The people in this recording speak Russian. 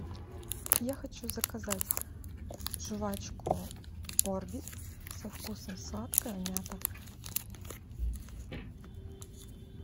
я хочу заказать жвачку орбит со вкусом сладкая мята